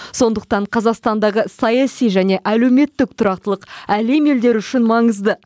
сондықтан қазақстандағы саяси және әлеуметтік тұрақтылық әлем елдері үшін маңызды